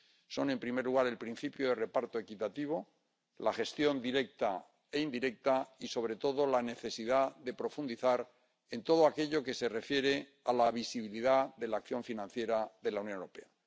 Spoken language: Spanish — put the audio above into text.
Son, en primer lugar, el principio de reparto equitativo, la gestión directa e indirecta y, sobre todo, la necesidad de profundizar en todo aquello que se refiere a la visibilidad de la acción financiera de la Unión Europea.